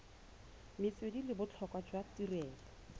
metswedi le botlhokwa jwa tirelo